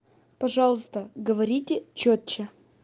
пожалуйста говорите чётче